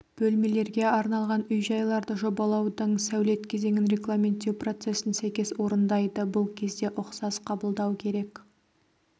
бөлмелерге арналған үй-жайларды жобалаудың сәулет кезеңін регламенттеу процесін сәйкес орындайды бұл кезде ұқсас қабылдау керек